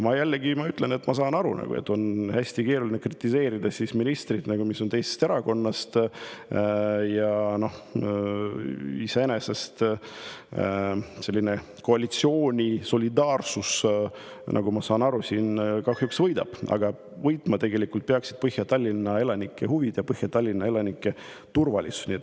Ma saan aru, et on hästi keeruline kritiseerida ministrit, kes on teisest erakonnast, ja iseenesest selline koalitsiooni solidaarsus siin kahjuks võidab, aga võitma peaksid tegelikult Põhja-Tallinna elanike huvid ja Põhja-Tallinna elanike turvalisus.